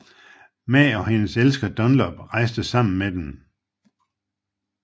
Ma og hendes elsker Dunlop rejste sammen med dem